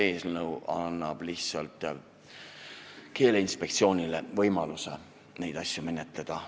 Eelnõu annab lihtsalt Keeleinspektsioonile võimaluse neid asju menetleda.